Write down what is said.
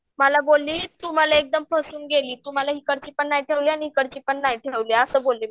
मला बोलली तू मला एकदम फसवून गेली तू मला हिकडची पण नाही ठेवली इकडची पण नाही ठेवली असं बोलली मला